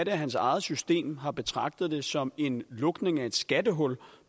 hans eget system har betragtet det som en lukning af et skattehul